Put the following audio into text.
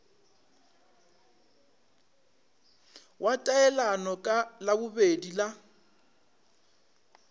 wa taelano ka labobedi la